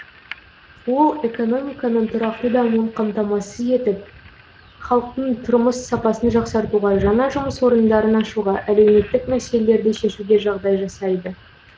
ол экономиканың тұрақты дамуын қамтамасыз етіп халықтың тұрмыс сапасын жақсартуға жаңа жұмыс орындарын ашуға әлеуметтік мәселелерді шешуге жағдай жасайды